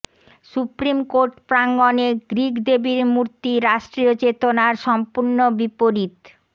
supreme court প্রাঙ্গণে Greek দেবীর মূর্তি রাষ্ট্রীয় চেতনার সম্পূর্ণ বিপরীত